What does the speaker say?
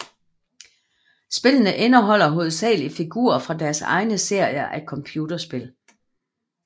Spillene indeholder hovedsagelig figurer fra deres egne serier af computerspil